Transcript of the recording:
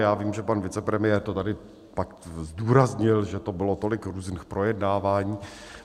Já vím, že pan vicepremiér to tady pak zdůraznil, že to bylo tolik různých projednávání.